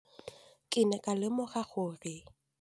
Ke ne ka lemoga gape gore